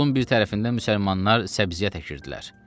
Yolun bir tərəfində müsəlmanlar səbziyə əkirdilər.